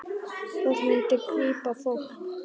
Það myndi grípa fólk.